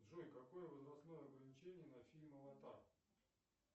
джой какое возрастное ограничение на фильм аватар